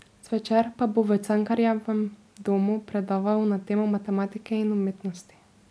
Zvečer pa bo v Cankarjevem domu predaval na temo matematike in umetnosti.